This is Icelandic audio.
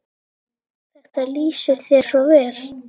Þetta lýsir þér svo vel.